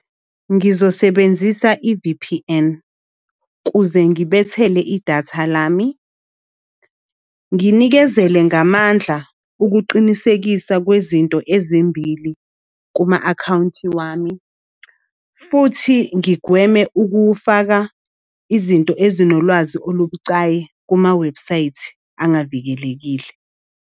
Ngizosebenzisa i-V_P_N kuze ngibethele idatha lami. Nginikezele ngamandla ukuqinisekisa kwezinto ezimbili kuma-akhawunti wami. Futhi ngigweme ukuwufaka izinto ezinolwazi olubucayi kumawebhusayithi angavikelekile.